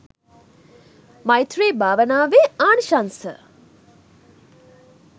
මෛත්‍රී භාවනාවේ ආනිසංශ